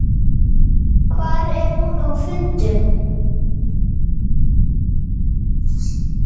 Hvar er hún á fundum?